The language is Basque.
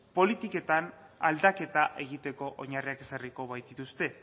politiketan aldaketa egiteko oinarriak ezarriko baitituzte